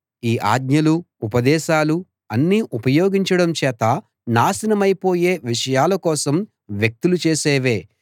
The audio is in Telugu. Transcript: ఈ ఆజ్ఞలూ ఉపదేశాలూ అన్నీ ఉపయోగించడం చేత నాశనమైపోయే విషయాల కోసం వ్యక్తులు చేసేవే